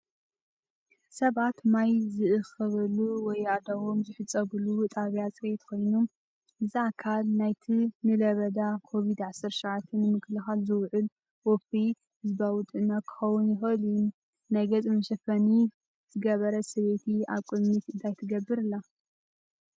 ሰባት ማይ ዝእክበሉ ወይ ኣእዳዎም ዝሕጸበሉ ጣብያ ጽሬት ኮይኑ፡ እዚ ኣካል ናይቲ ንለበዳ ኮቪድ-19 ንምክልኻል ዝውዕል ወፍሪ ህዝባዊ ጥዕና ክኸውን ይኽእል እዩ። ናይ ገጽ መሸፈኒ ዝገበረት ሰበይቲ ኣብ ቅድሚት እንታይ ትገብር ኣላ?